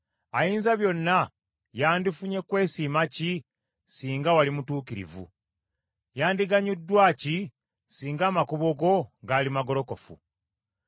Ayinzabyonna yandifunye kwesiima ki singa wali mutuukirivu? Yandiganyuddwa ki singa amakubo go gaali magolokofu?